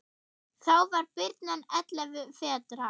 Þá var birnan ellefu vetra.